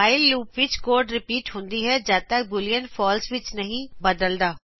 whileਲੂਪ ਵਿੱਚ code repeat ਹੁੰਦੀ ਹੈ ਜੱਦ ਤਕ ਬੂਲੀਅਨ ਫਾਲਸੇ ਵਿਚ ਨਹੀ ਬਦਲਦਾ